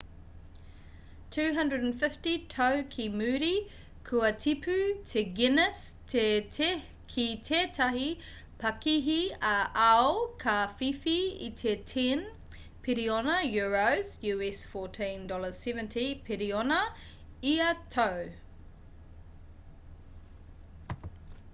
250 tau ki muri kua tipu te guinness ki tētahi pakihi ā-ao ka whiwhi i te 10 piriona euros us$14.7 piriona ia tau